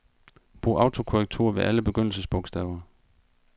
Brug autokorrektur ved alle begyndelsesbogstaver.